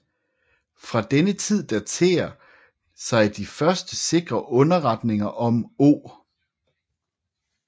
Fra denne Tid daterer sig de første sikre Underretninger om O